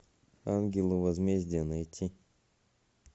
ангелы возмездия найти